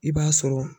I b'a sɔrɔ